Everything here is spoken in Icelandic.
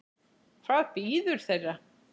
Hvað bíður þeirra?